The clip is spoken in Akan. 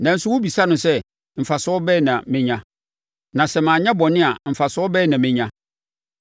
Nanso wobisa no sɛ, ‘Mfasoɔ bɛn na mɛnya, na sɛ manyɛ bɔne a, mfasoɔ bɛn na mɛnya?’